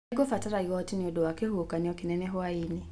Nĩngũbatara igoti nĩ ũndũ wa kĩhuhũkanio kĩnene hwaĩ-inĩ